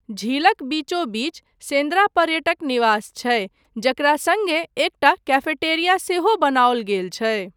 झीलक बीचोबीच सेन्द्रा पर्यटक निवास छै, जकरा सङ्गे एकटा कैफेटेरिया सेहो बनाओल गेल छै।